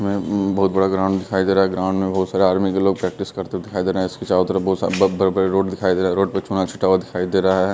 में उ बहुत बड़ा ग्राउंड दिखाई दे रहा ग्राउंड में बहुत सारे आर्मी के लोग प्रैक्टिस करते हुए दिखाई दे रहे इसके चारो तरफ बहुत सा ब बड़े-बड़े रोड दिखाई दे रहे रोड पे चुना छिटा हुआ दिखाई दे रहा है।